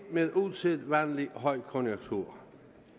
med usædvanlig højkonjunktur